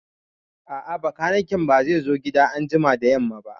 A'a, bakaniken ba zai zo gida anjima da yamma ba